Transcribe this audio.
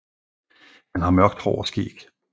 Han har mørkt hår og skæg